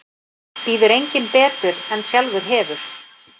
Býður enginn betur en sjálfur hefur.